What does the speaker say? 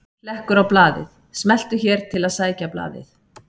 Hlekkur á blaðið: Smelltu hér til að sækja blaðið